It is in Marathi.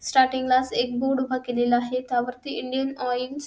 स्टारटिंग ला एकच बोर्ड उभा केलेला आहे त्यावरती इंडियन ऑइल्स --